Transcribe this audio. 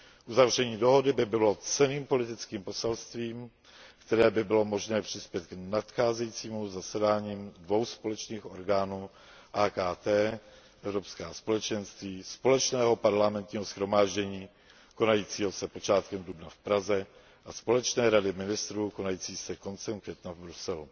Uzavření dohody by bylo cenným politickým poselstvím, kterým by bylo možné přispět k nadcházejícím zasedáním dvou společných orgánů AKT ES Společného parlamentního shromáždění konajícího se počátkem dubna v Praze a Společné rady ministrů konající se koncem května v Bruselu.